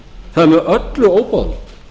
það er með öllu óboðlegt